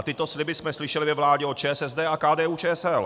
A tyto sliby jsme slyšeli ve vládě od ČSSD a KDU-ČSL.